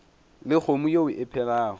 le kgomo ye e phelago